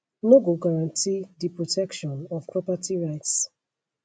no go guarantee di protection of property rights